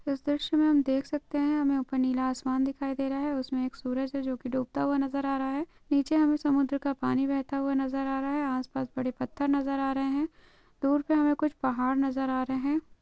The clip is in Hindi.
इस दृश्य मे हम देख सकते हेहमे ऊपर नीला आसमान दिखाई दे रहा है उसमे एक सूरज जो की डूबता हुवा नजर आ रहा हेनीचे हमे समुद्र का पानी बेहता हुवा नजर आ रहा है आसपास बड़े पत्थर नजर आ रह है दूर पे हमे कुछ पहाड़ नजर आ रहे है।